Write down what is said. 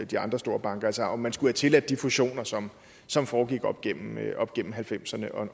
de andre store banker altså om man skulle have tilladt de fusioner som som foregik op igennem halvfemserne